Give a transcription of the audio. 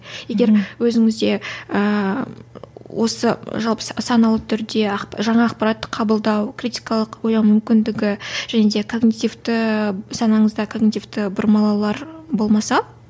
егер өзіңізде ііі осы жалпы саналы түрде жаңа ақпаратты қабылдау критикалық ойлау мүмкіндігі және де санаңызда бұрмалалаулар болмаса